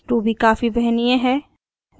ruby काफी वहनीय है